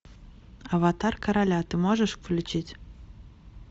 аватар короля ты можешь включить